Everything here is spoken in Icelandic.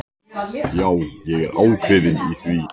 Segir að það sé ekkert mark á mér takandi.